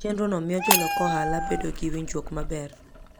Chenrono miyo jolok ohala bedo gi winjruok maber.